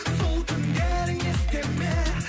сол түндерің есте ме